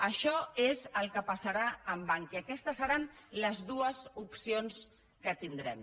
això és el que passarà amb bankia aquestes seran les dues opcions que tindrem